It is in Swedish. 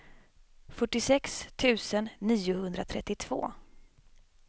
fyrtiosex tusen niohundratrettiotvå